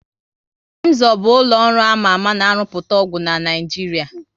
Emzor bụ ụlọ ọrụ ama ama na rụpụta ọgwụ na Naịjiria